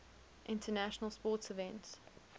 international sports events